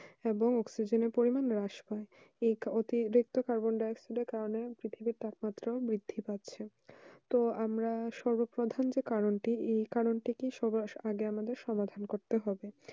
এবং অক্সিজেন পরিমান হ্রাস পাই এই কার্বনডাই অক্সাইড কারণে অধিক তাপ মাত্র বৃদ্ধি পারছে তো আমরা সর্ব প্রধান যে কারণ টি এই কারণ টি এই কারণ টি সমাধান করতে হবে